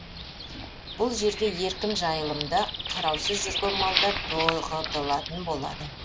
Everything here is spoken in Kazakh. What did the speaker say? бұл жерге еркін жайлымда қараусыз жүрген малдар тоғытылатын болады